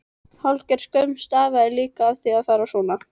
Hálfgerð skömm stafaði líka af því að fara svona.